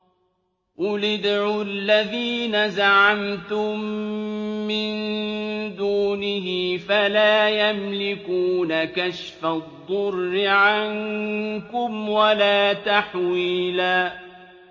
قُلِ ادْعُوا الَّذِينَ زَعَمْتُم مِّن دُونِهِ فَلَا يَمْلِكُونَ كَشْفَ الضُّرِّ عَنكُمْ وَلَا تَحْوِيلًا